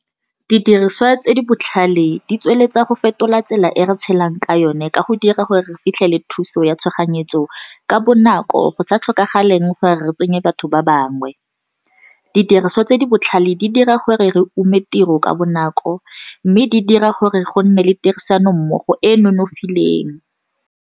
Didiriswa tse di botlhale di tsweletsa go fetola tsela e re tshelang ka yone ka go dira gore re fitlhele thuso ya tshoganyetso ka bonako, go sa tlhokagaleng gore re tsenya batho ba bangwe. Didiriswa tse di botlhale, di dira gore re ume tiro ka bonako mme di dira gore go nne le tirisanommogo e e nonofileng.